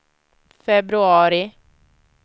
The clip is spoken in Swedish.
februari